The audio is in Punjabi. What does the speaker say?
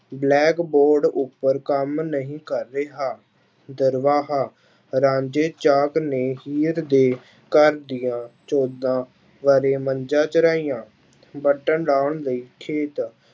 Blackboard ਉੱਪਰ ਕੰਮ ਨਹੀਂ ਕਰ ਰਿਹਾ, ਦਰਵਾਹਾ ਰਾਂਝੇ ਚਾਪ ਨੇ ਹੀਰ ਦੇ ਘਰ ਦੀਆਂ ਚੌਦਾਂ ਵਾਰੇ ਮੱਝਾਂ ਚਰਾਹੀਆਂ ਲਾਉਣ ਲਈ